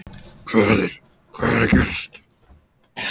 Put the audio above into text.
Hvað er, hvað er að gerast?